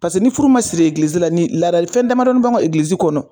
Pase ni furu ma siri egilizi la ni ladali fɛn damadɔni b'anw ka egilizi kɔnɔ